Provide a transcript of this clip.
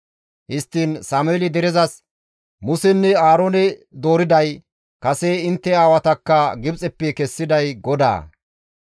Histtiin Sameeli derezas, «Musenne Aaroone dooriday, kase intte aawatakka Gibxeppe kessiday GODAA.